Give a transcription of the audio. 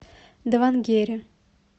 давангере